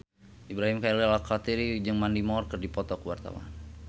Ibrahim Khalil Alkatiri jeung Mandy Moore keur dipoto ku wartawan